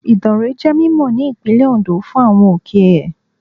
Ìdànrè jẹ́ mímọ̀ ní Ìpínlẹ̀ Ondo fún àwọn òkè ẹ̀.